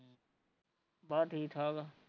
ਬਸ ਠੀਕ ਠਾਕ ਆ